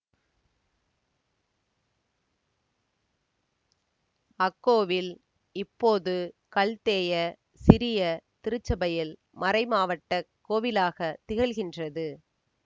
அக்கோவில் இப்போது கல்தேய சிரிய திருச்சபையில் மறைமாவட்டக் கோவிலாகத் திகழ்கின்றது